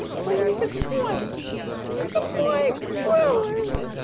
он не высокий это мой голос